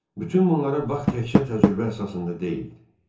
Bütün bunlar Baxın təcrübə əsasında deyildi.